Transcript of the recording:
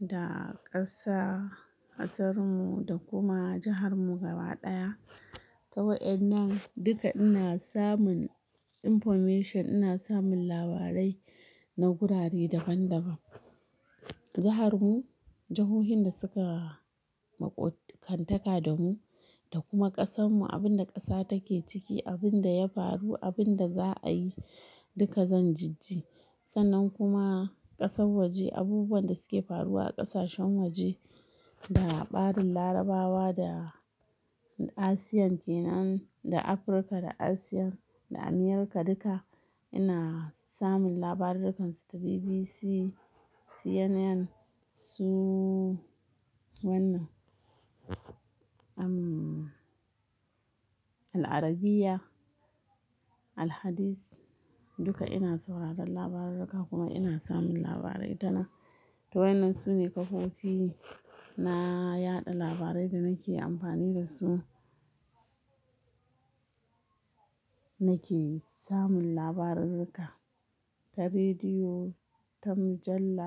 da ƙasa, ƙasar mu da kuma jihar mu gaba ɗaya. Ta wa'innan duka ina samun information, ina samun labarai na gurare daban daban. Jihar mu, jihohin da suka maƙotkantaka da mu, da kuma ƙasar mu, abun da ƙasa take ciki, abun da ya faru, abun da za a yi, duka zan jijji. Sannan kuma ƙasar waje, abubuwan da suke faruwa a ƙasashen waje, da ɓarin Larabawa da Asiyan ke nan, da Africa da Asiyan da Amerika duka, ina samun labarurrukansu ta BBC, CNN, su wanna, Al Arabiya, Al Hadis duka ina sauraron labarurruka kuma ina samun labarai ta nan. Ta wa'innan sune kafofi na yaɗa labarai da nake amfani da su. Nake samun labarurruka ta rediyo, ta mujalla,